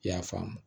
I y'a faamu